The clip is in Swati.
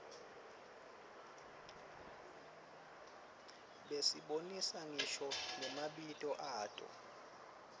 basibonisa ngisho namabito ato